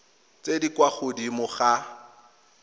tse di kwa godimo ga